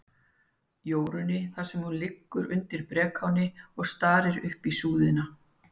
Jórunni, þar sem hún liggur undir brekáni og starir upp í súðina.